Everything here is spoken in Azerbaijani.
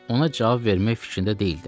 Ona cavab vermək fikrində deyildim.